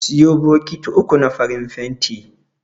Siyo bokiti uku na farin fenti.